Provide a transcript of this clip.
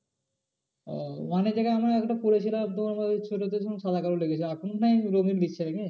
ও জায়গায় আমার একটা করেছিল সাদা কালো লেগেছে এখন না হয় রঙিন নিচ্ছে নাকি?